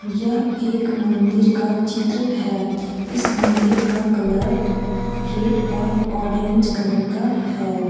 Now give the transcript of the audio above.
यह एक मंदिर का चित्र है इस मंदिर का कलर रेड और ऑरेंज कलर का है।